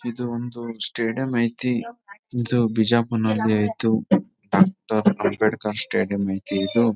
ಇದು ಒಂದು ಸ್ಟೇಡಿಯಂ ಐತಿ ಇದು ಬಿಜಾಪುರ್ ನಲ್ಲಿ ಐತೊ ಡಾಕ್ಟರ್ ಅಂಬೇಡ್ಕರ್ ಸ್ಟೇಡಿಯಂ ಐತಿ ಇದು .